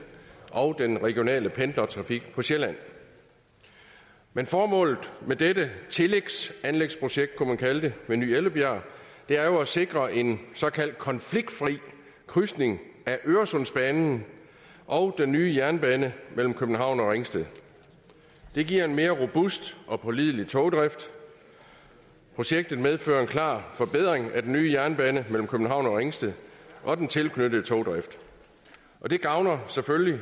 og den regionale pendlertrafik på sjælland men formålet med dette tillægsanlægsprojekt kunne man kalde det ved ny ellebjerg er jo at sikre en såkaldt konfliktfri krydsning af øresundsbanen og den nye jernbane mellem københavn og ringsted det giver en mere robust og pålidelig togdrift projektet medfører en klar forbedring af den nye jernbane mellem københavn og ringsted og den tilknyttede togdrift og det gavner selvfølgelig